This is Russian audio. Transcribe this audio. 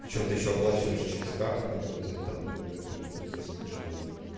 причём ты ещё оплачиваешь через карту которая тебя там например приносит кэшбэк